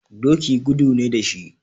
Doki gudu ne da shi.